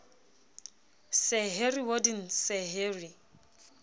sir harry warden sir harry